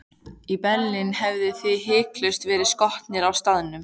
Í Berlín hefðuð þið hiklaust verið skotnir á staðnum.